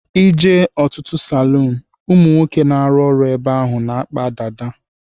I jee n'otutu salun ụmụnwoke na-aru ọrụ ebe ahụ na-akpa dada.